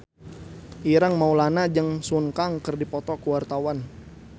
Ireng Maulana jeung Sun Kang keur dipoto ku wartawan